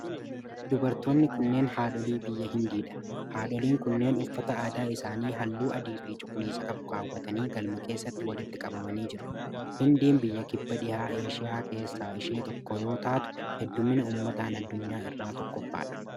Dubartoonni kunneen haadholee biyya hindii dha. Haadhleen kunneen uffata aadaa isaanii haalluu adii fi cuquliisa qabu kaaawwatanii galma keessatti walitti qabamanii jiru. Hindiin biyya kibba dhiha eeshiyaa keessaa ishee tokko yoo taatu, hedduummina ummataan addunyaa irraa tokkoffaa dha.